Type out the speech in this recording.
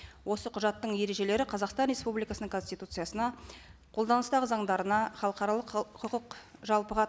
осы құжаттың ережелері қазақстан республикасының конституциясына қолданыстағы заңдарына халықаралық құқық жалпыға